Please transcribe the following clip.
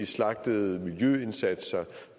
slagtede miljøindsatser